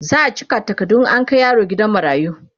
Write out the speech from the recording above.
za'a cika takardu in an Kai yaron gidan marayu